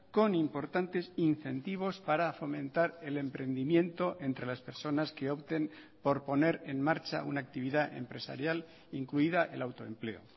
con importantes incentivos para fomentar el emprendimiento entre las personas que opten por poner en marcha una actividad empresarial incluida el autoempleo